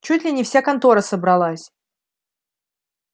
чуть ли не вся контора собралась